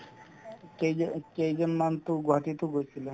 কেইজ~ কেইজন মানতো গুৱাহাটীতো গৈছিলে